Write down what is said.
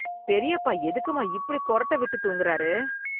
பெரியப்பா எதுக்கும்மா இப்படி கொறட்ட விட்டுத் தூங்குறாரு?